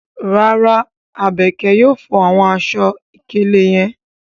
Rara, Abeke yóò fo awọn aṣọ-ikele yẹn